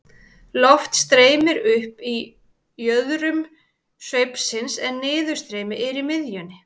Loft streymir upp í jöðrum sveipsins en niðurstreymi er í miðjunni.